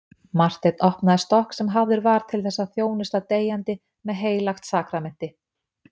Marteinn opnaði stokk sem hafður var til þess að þjónusta deyjandi með heilagt sakramenti.